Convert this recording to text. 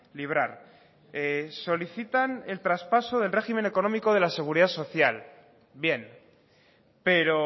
librar solicitan el traspaso del régimen económico de la seguridad social bien pero